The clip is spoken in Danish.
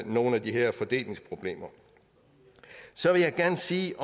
nogle af de her fordelingsproblemer så vil jeg gerne sige